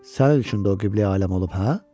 Sənin üçün də o Qibləyi aləm olub hə?